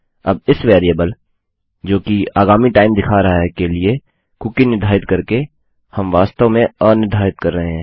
अब इस वेरिएबल जोकि आगामी टाइम दिखा रहा है के लिए कुकी निर्धारित करके हम वास्तव में अनिर्धारित कर रहें हैं